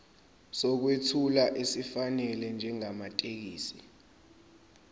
sokwethula esifanele njengamathekisthi